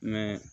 Ni